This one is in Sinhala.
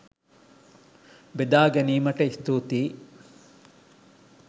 බෙදා ගැනීමට ස්තුතියි!